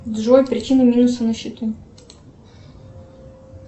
джой причина минуса на счету